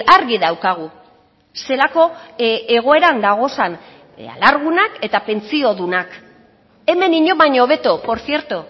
argi daukagu zelako egoeran dagozan alargunak eta pentsiodunak hemen inon baino hobeto por cierto